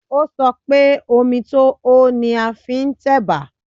Ó sọ pé, omi tó hó ni a fi ń tẹ̀bà